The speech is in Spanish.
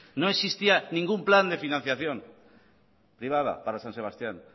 no existía ningún plan de financiación privada para san sebastián